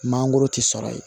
Mangoro ti sɔrɔ yen